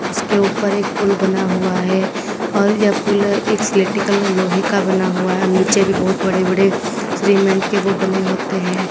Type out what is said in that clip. इसके ऊपर एक पुल बना हुआ है और यह पुल एक स्लैटी कलर लोहे का बना हुआ है नीचे भी बहुत बड़े बड़े श्रीमेंट के वो बने होते हैं।